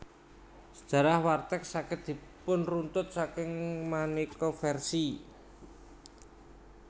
Sejarah warteg saged dipunruntut saking maneka versi